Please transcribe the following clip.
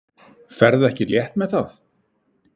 Ferðu ekki létt með það?